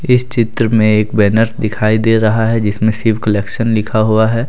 इस चित्र में एक बैनर दिखाई दे रहा जिसमें शिव कलेक्शन लिखा हुआ है।